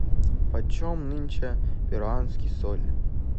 почем нынче перуанский соль